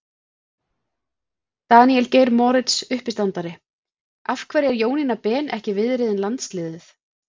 Daníel Geir Moritz, uppistandari: Af hverju er Jónína Ben ekki viðriðin landsliðið?